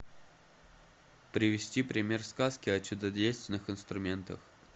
привести пример сказки о чудодейственных инструментах